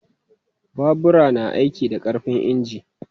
Babura na aiki da ƙarfin inji.